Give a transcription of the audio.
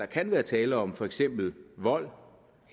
kan være tale om for eksempel vold